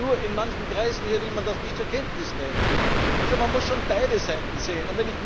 Nur in manchen Kreisen hier will man das nicht zur Kenntnis nehmen. Man muss schon beide Seiten sehen.